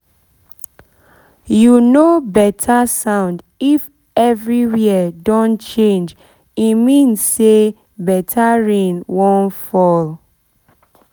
you know better sound if everywhere don change e mean say better rain wan fall